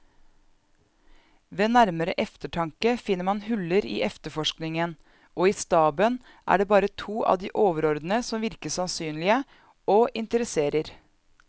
Ved nærmere eftertanke finner man huller i efterforskningen, og i staben er det bare to av de overordnede som virker sannsynlige og interesserer.